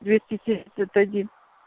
двести семьдесят один